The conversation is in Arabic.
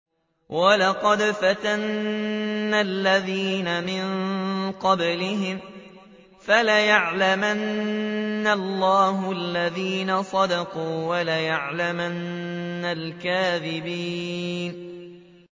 وَلَقَدْ فَتَنَّا الَّذِينَ مِن قَبْلِهِمْ ۖ فَلَيَعْلَمَنَّ اللَّهُ الَّذِينَ صَدَقُوا وَلَيَعْلَمَنَّ الْكَاذِبِينَ